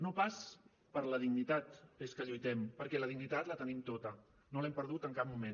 no pas per la dignitat dels que lluitem perquè la dignitat la tenim tota no l’hem perdut en cap moment